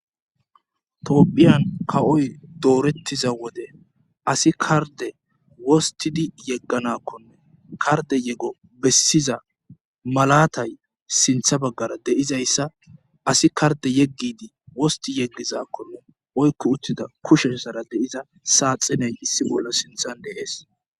Toophiyan kawoy doorettiza wode asi karde wostidi yegganakkonne karde yego bessiza malatay sintha baggara deizayssa asi karde yeggidi wosti yeggizakkonne oykko uttida kushessara deiza saaxiney hissi bollo sinthan dees.